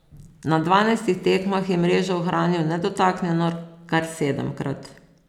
Na dvanajstih tekmah je mrežo ohranil nedotaknjeno kar sedemkrat.